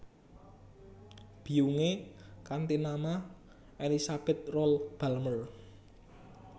Biyungé kanthi nama Elizabeth Rolle Balmer